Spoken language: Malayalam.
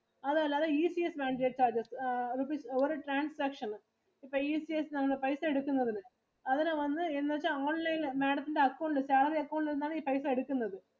അതല്ലാതെ ECS mandate charges rupees ഒരു transaction ന് ഇപ്പൊ ECS നമ്മള് പൈസ എടുക്കുന്നതിനു. അതിനു വന്നു എന്ന് വെച്ചാ online ഇൽ Madam ത്തിൻറെ account ഇല് എന്ന് വെച്ചാ Madam ത്തിൻറെ salary account ഇൽ നിന്നാണ് ഈ പൈസ എടുക്കുന്നത്.